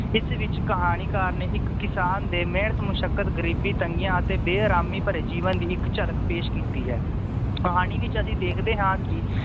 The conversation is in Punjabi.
ਇਸ ਵਿਚ ਕਹਾਣੀਕਾਰ ਨੇ ਇਕ ਕਿਸਾਨ ਦੇ ਮੇਹਨਤ ਮੁਸ਼ੱਕਰ ਗਰੀਬੀ ਤੰਗੀਆਂ ਅਤੇ ਬੇਅਰਾਮੀ ਭਰੇ ਜੀਵਨ ਦੀ ਇੱਕ ਝਲਕ ਪੇਸ਼ ਕੀਤੀ ਹੈ ਕਹਾਣੀ ਵਿਚ ਅਸੀ ਦੇਖਦੇ ਹਾਂ ਕਿ